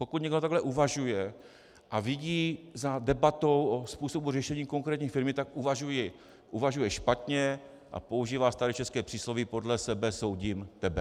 Pokud někdo takhle uvažuje a vidí za debatou o způsobu řešení konkrétní firmy, tak uvažuje špatně a používá staré české přísloví "podle sebe soudím tebe".